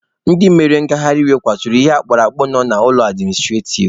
Ndị mere ngaharị iwe kuturu ihe akpurakpụ nọ n'ihu ụlọ administrativ.